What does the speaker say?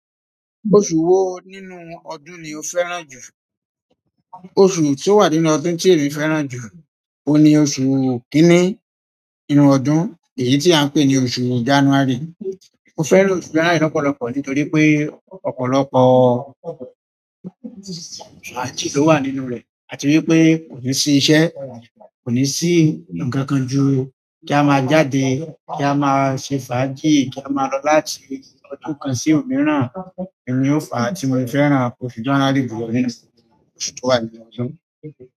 Oṣù wo nínú ọdún ni o fẹ́ràn jù? Oṣù tí ó wà nínú ọdún tí emi fẹ́ràn jù, òun ni oṣù kíní nínú ọdún, èyí tí à ń pè ní oṣù January. Mo fẹ́ràn January lọ́pọ̀lọpọ̀ nítorí pé ọ̀pọ̀lọpọ̀ fàájì ló wà nínú rẹ̀, àti wípé kò ní sí iṣẹ́, kò ní sí ǹkankan ju kí a máa jáde, kí a máa ṣe fàájì, kí a máa lọ láti ọdún kan sí òmíràn. Èyí ni ó fà tí mo fẹ́ràn oṣù January jù lọ nínú oṣù tó wà nínú ọdún.